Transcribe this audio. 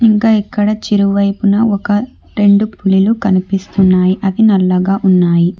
ఇంకా ఇక్కడ చిరువైపున ఒక రెండు పులులు కనిపిస్తున్నాయి అవి నల్లగా ఉన్నాయి.